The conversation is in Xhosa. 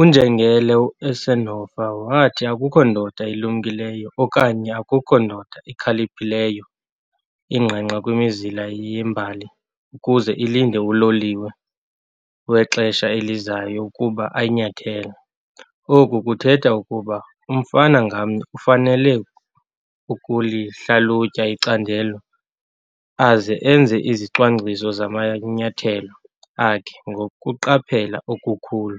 UNjengele Eisenhower wathi, 'Akukho ndoda ilumkileyo okanye akukho ndoda ikhaliphileyo ingqengqa kwimizila yembali ukuze ilinde uloliwe wexesha elizayo ukuba ayinyathele', oku kuthetha ukuba umfama ngamnye ufanele ukulihlalutya icandelo aze enze izicwangciso zamanyathelo akhe ngokuqaphela okukhulu